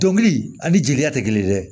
Dɔnkili ani jeliya tɛ kelen dɛ